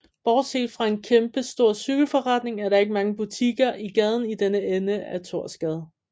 Bortset fra en kæmpestor cykelforretning er der ikke mange butikker i gaden i denne ende af Thorsgade